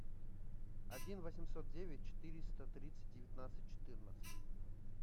один восемьсот девять четыреста тридцать девятнадцать четырнадцать